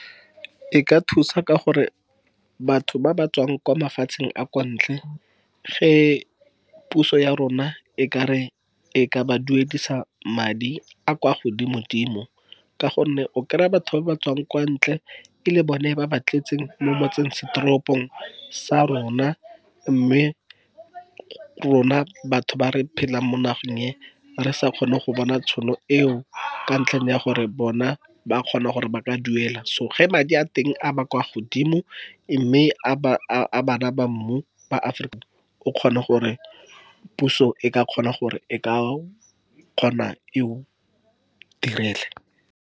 E ka thusa ka gore batho ba ba tswang kwa mafatsheng a kwa ntle. Ge puso ya rona e kare, e ka ba duedisa madi a kwa godimo-dimo. Ka go nne o kry-a batho ba ba tswang kwa ntle, e le bone ba ba tletseng mo motseng setoropong sa rona. Mme rona batho ba re phelang mo nageng e, re sa kgone go bona tšhono eo ka ntlheng ya gore bona ba kgona gore ba ka duela. So ge madi a teng a ba kwa godimo mme a bana ba mmu ba Aforika o kgona gore puso e ka kgona e o direle.